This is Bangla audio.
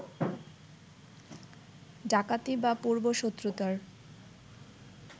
ডাকাতি বা পূর্ব-শত্রুতার